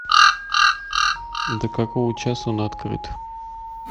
до какого часа он открыт